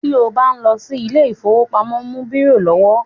Ti o bá ń lọ sí ilé ìfọwọ́pamo, mú bírò lọ́wọ́.